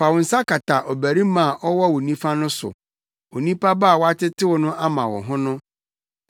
Fa wo nsa kata ɔbarima a ɔwɔ wo nifa no so, onipa ba a woatetew no ama wo ho no.